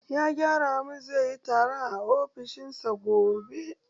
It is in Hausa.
Ya gaya mun zaiyi taron a ofishin sa gobe.